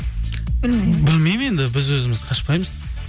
білмеймін енді біз өзіміз қашпаймыз